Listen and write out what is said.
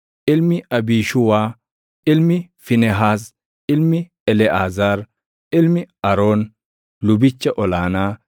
ilmi Abiishuuwaa, ilmi Fiinehaas, ilmi Eleʼaazaar, ilmi Aroon lubicha ol aanaa